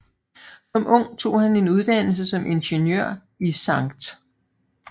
Som ung tog han en uddannelse som ingeniør i Skt